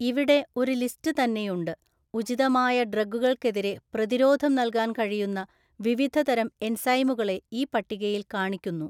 ഇവിടെ ഒരു ലിസ്റ്റ് തന്നെയുണ്ട് ഉചിതമായ ഡ്രഗുകൾക്കെതിരെ പ്രതിരോധം നൽകാൻ കഴിയുന്ന വിവിധ തരം എൻസൈമുകളെ ഈ പട്ടികയിൽ കാണിക്കുന്നു.